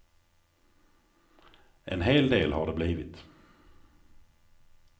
En hel del har det blivit.